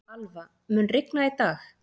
Alva, mun rigna í dag?